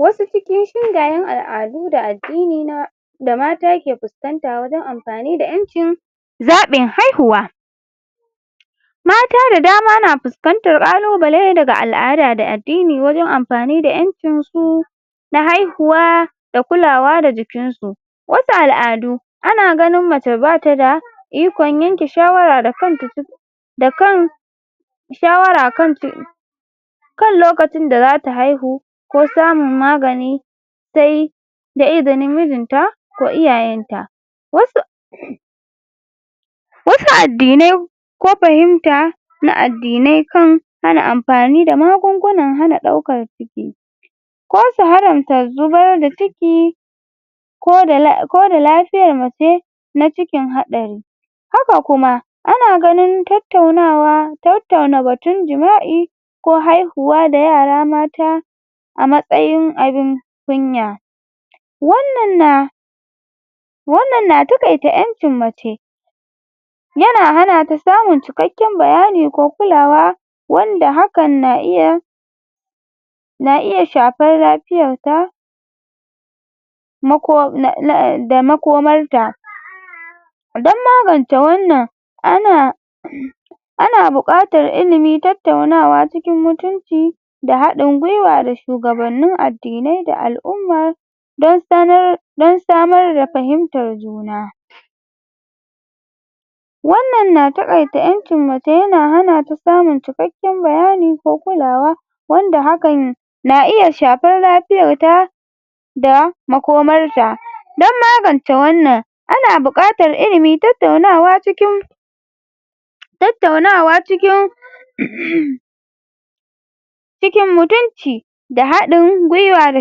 Wasu cikin shingayen al'adu da addini na da matake puskanta wajen ampani da ƴancin zain haihuwa mata da dama na puskantar ƙalubale daga al'ada da addini wajen ampani da ƴancin su na haihuwa da kulawa da jikinsu wasu al'adu ana ganin mace bata da ikon yanke shawara da kanta da kan shawara kan kan lokacin da zata haihu ko samun magani sai da izinin mijinta ko iyayen ta wasu wasu addinai ko pahimta na addinai kan hana ampani da magungunan hana ɗaukan ciki ko su haramta zubar da ciki ko da ko da lafiyar mace na cikin haɗari haka kuma ana ganin tattaunawa tattauna batun jima'i ko haihuwa da yara mata a matsayin abin kunya wannan na wannan na taƙaita ƴancin mace yana hana ta samun cikakkaen bayani ko kulawa wanda hakan na iya na iya shapar lapiyar ta um da makomarta don magance wannan ana ana buƙatar ilimi tattaunawa cikin mutunci da haɗin gwiwa da shugabanni addinai da al'umma don sanar don samar da pahimtar juna wannan na taƙaita ƴancin mace yana hana ta samun cikakken bayani ko kulawa wanda hakan na iya shapar lapiyar ta da makomarta don magance wannan ana buƙatar ilimi tattaunawa cikin tattaunawa cikin cikin mutunci da haɗin gwiwa da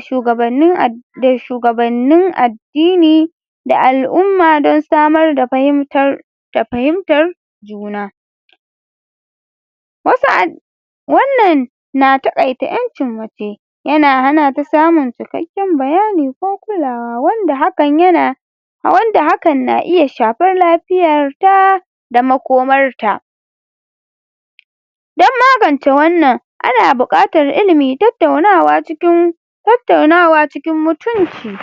shugabannin da shugabannin addini da al'umma don samar da pahimtar da pahimtar juna wasu wannan na taƙaita ƴancin mace yana hana ta samun cikakken bayami ko kulawa wanda hakan yana wanda hakan na iya shapar lapiyar ta da makomarta don magance wannan ana buƙatar ilimi tattaunawa cikin tattaunawa cikin mutunci